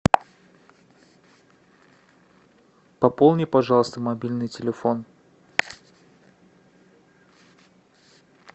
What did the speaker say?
пополни пожалуйста мобильный телефон